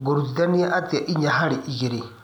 ngũrutithania atĩa ĩnya harĩ igĩrĩ